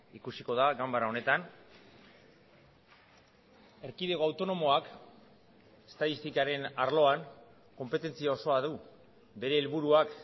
ikusiko da ganbara honetan erkidego autonomoak estatistikaren arloan konpetentzia osoa du bere helburuak